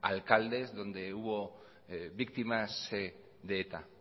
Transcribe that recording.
alcaldes donde hubo víctimas de eta